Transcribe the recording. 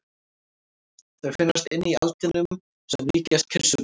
Þær finnast inni í aldinum sem líkjast kirsuberjum.